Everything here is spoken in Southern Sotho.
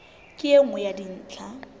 ke e nngwe ya dintlha